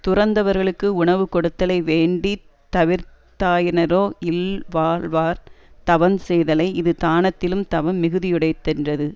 துறந்தவர்களுக்கு உணவு கொடுத்தலை வேண்டி தவிர்ந்தாராயினரோ இல்வாழ்வார் தவஞ் செய்தலை இது தானத்திலும் தவம் மிகுதியுடைத்தென்றது